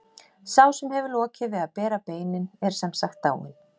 Sá sem hefur lokið við að bera beinin er sem sagt dáinn.